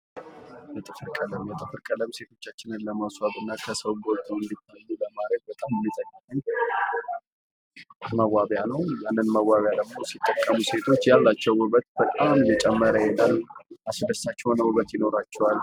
የጥፍር ቀለም፤ የጥፍር ቀለም ሴቶቻችን ለማስዋብ እና ከሰው ጎልተው እንዲታዩ በማድረግ በጣም የሚጠቅም መዋቢያ ነው፣ ያንን መዋቢያ ሲጠቀሙ ሴቶች ያላቸው ውበት በጣም እየጨመረ ይመጣል። አስደሳች የሆነ ውበት ይኖራቸዋል።